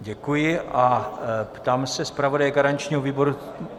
Děkuji a ptám se zpravodaje garančního výboru...